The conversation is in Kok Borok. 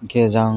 angkhe jang.